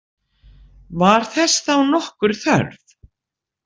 Var þess þá nokkur þörf?